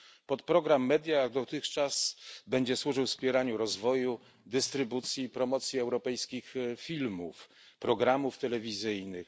Podprogram MEDIA tak jak dotychczas będzie służył wspieraniu rozwoju, dystrybucji i promocji europejskich filmów i programów telewizyjnych.